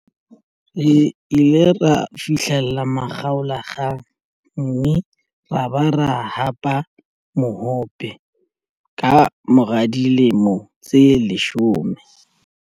Re ile ra fihlela makgaolakgang mme ra ba ra hapa mohope ka mora dilemo tse leshome.